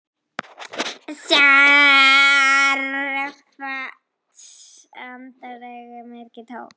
Stjarft andlit, augun myrk, tóm.